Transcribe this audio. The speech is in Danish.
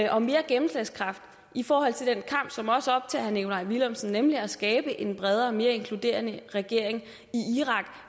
og mere gennemslagskraft i forhold til den kamp som også optager herre nikolaj villumsen nemlig at skabe en bredere og mere inkluderende regering i irak